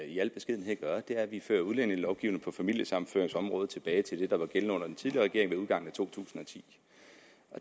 i al beskedenhed gør er at vi fører udlændingelovgivningen på familiesammenføringsområdet tilbage til det der var gældende under den tidligere regering ved udgangen af to tusind og ti